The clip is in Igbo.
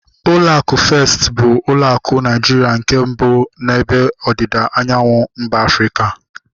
Ụlọ akụ Festi bụ ụlọ akụ Naijiria nke mbụ n'ebe ọdịda anyanwụ mba Afrịka